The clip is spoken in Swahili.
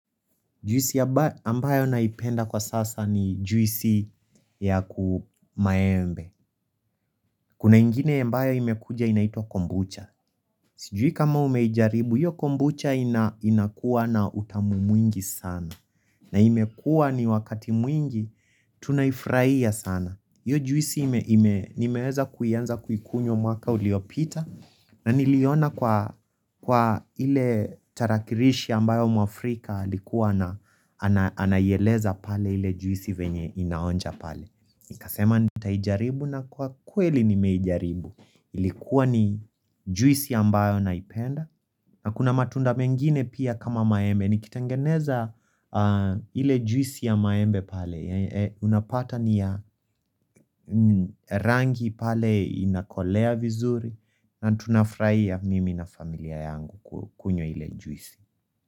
Juisi ambayo naipenda kwasasa ni juisi yaku maembe kunaingine ambayo imekuja inaitwa kombucha sijui kama umeijaribu iyo kombucha inakuwa na utamu mwingi sana na imekuwa ni wakati mwingi tunaifraia sana iyo juisi nimeweza kuanza kuikunywa mwaka uliopita na niliona kwa iletarakirishi ambayo mwafrika alikuwa anaiyeleza pale ile juisi venye inaonja pale nikasema nita ijaribu na kwakweli nimeijaribu Ilikuwa ni juisi ambayo naipenda na kuna matunda mengine pia kama maembe nikitangeneza ile juisi ya maembe pale unapata niyarangi pale inakolea vizuri na tunafraia mimi na familia yangu kunywa ile juisi.